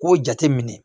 K'o jate minɛ